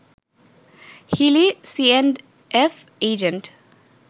হিলির C and F agent